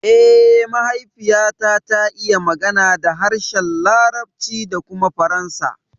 Eh, mahaifiyata ta iya magana da harshen larabci da kuma faransa